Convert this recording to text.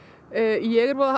ég er voða